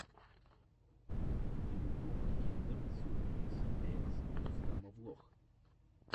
ютуб киндер сюрприз эггс рустама влог